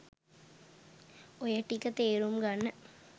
ඔය ටික තේරුම් ගන්න